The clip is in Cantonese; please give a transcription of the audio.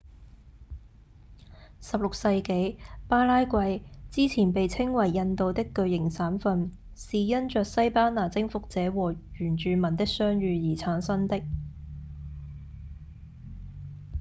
16世紀巴拉圭之前被稱為「印度的巨型省份」是因著西班牙征服者和原住民的相遇而誕生的